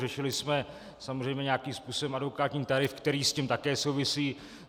Řešili jsme samozřejmě nějakým způsobem advokátní tarif, který s tím také souvisí.